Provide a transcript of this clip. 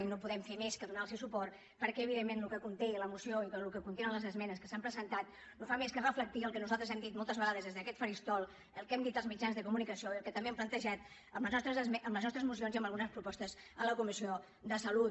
i no podem fer més que donar los suport perquè evidentment el que conté la moció i el que contenen les esmenes que s’han presentat no fan més que reflectir el que nosaltres hem dit moltes vegades des d’aquest faristol el que hem dit als mitjans de comunicació i el que també hem plantejat amb les nostres mocions i amb algunes propostes a la comissió de salut